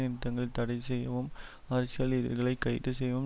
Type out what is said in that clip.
நிறுத்தங்களை தடை செய்யவும் அரசியல் எதிரிகளை கைது செய்யவும்